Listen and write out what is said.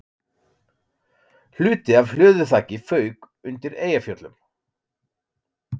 Hluti af hlöðuþaki fauk undir Eyjafjöllum